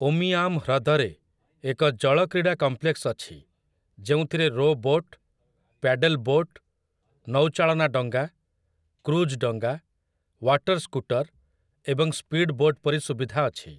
ଉମିଆମ୍ ହ୍ରଦରେ ଏକ ଜଳ କ୍ରୀଡା କମ୍ପ୍ଲେକ୍ସ ଅଛି ଯେଉଁଥିରେ ରୋ ବୋଟ୍, ପ୍ୟାଡେଲ୍ ବୋଟ୍, ନୌଚାଳନା ଡଙ୍ଗା, କ୍ରୁଜ୍ ଡଙ୍ଗା, ୱାଟର୍ ସ୍କୁଟର୍ ଏବଂ ସ୍ପିଡ୍ ବୋଟ୍ ପରି ସୁବିଧା ଅଛି ।